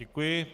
Děkuji.